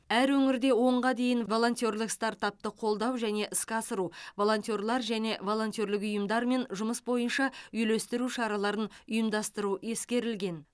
әр өңірде онға дейін волонтерлік стартапты қолдау және іске асыру волонтерлер және волонтерлік ұйымдармен жұмыс бойынша үйлестіру шараларын ұйымдастыру ескерілген